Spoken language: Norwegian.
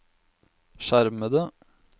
skjermede